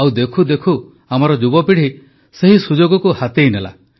ଆଉ ଦେଖୁ ଦେଖୁ ଆମର ଯୁବପିଢ଼ି ସେହି ସୁଯୋଗକୁ ହାତେଇ ନେଲା